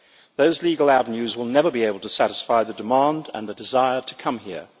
Those legal avenues will never be able to satisfy the demand and the desire to come here.